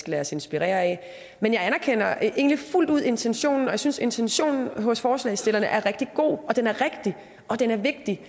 lade os inspirere af men jeg anerkender egentlig fuldt ud intentionen og jeg synes intentionen hos forslagsstillerne er rigtig god og den er rigtig og den er vigtig